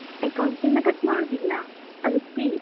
Account ಇಂದ cut ಮಾಡುದಿಲ್ಲ ಅದು free .